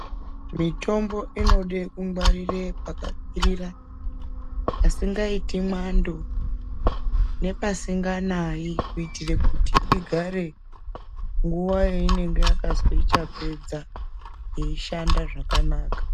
Mitombo inode kungwarire pakakwirira pasingaiti mwando nepasinganayi kuitira kuti igare nguwa yainenge yakazwi ichapedza yeishanda zvakanaka.